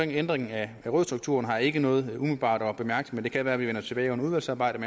ændringen af rådsstrukturen har jeg ikke noget umiddelbart at bemærke men det kan være at vi vender tilbage under udvalgsarbejdet